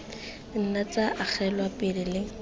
nna tsa agelwa pele le